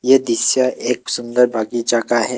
यह दृश्य एक सुंदर बगीचा का है।